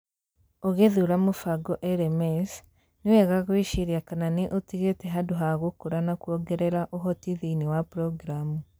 Ũgĩthuura mũbango LMS, nĩ wega gwĩciria kana nĩ ũtigĩte handũ ha gũkũra na kwongerera ũhoti thĩinĩ wa programu.